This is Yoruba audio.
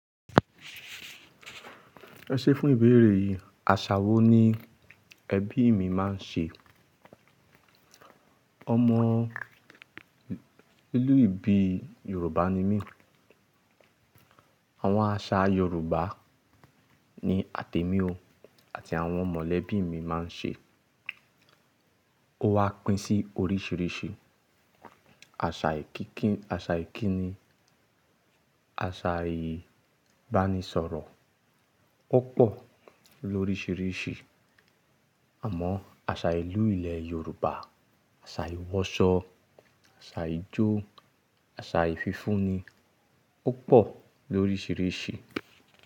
Ẹ ṣe fún ìbéèrè yìí, àṣà wo ni ẹbí mi máa ń ṣe? Ọmọ ìlú ìbí Yorùbá ni mí. Àwọn àṣà Yorùbá ni àtẹ́mi òó àti àwọn mọ̀lẹ́bí mi máa ń ṣe. Ó wà pín sí oríṣìíríṣìí, asa Àṣà ìkíni, àṣà ìbánisọ̀rọ̀, ó pọ̀ lóríṣìíríṣìí. Àmọ́ àṣà ìlú ilẹ̀ Yorùbá, àṣà ìwọsọ, àṣà ijó, àṣà ìfífúnni, ó pọ̀ lóríṣìíríṣìí.